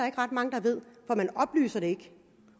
ikke ret mange der ved for man oplyser det ikke